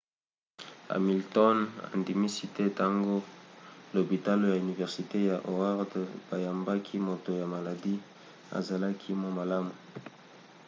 hamilton andimisi ete ntango lopitalo ya universite ya howard bayambaki moto ya maladi azalaki mwa malamu